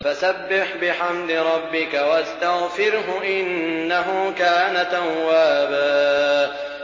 فَسَبِّحْ بِحَمْدِ رَبِّكَ وَاسْتَغْفِرْهُ ۚ إِنَّهُ كَانَ تَوَّابًا